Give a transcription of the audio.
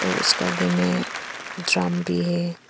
उसका आगे में ड्रम भी है।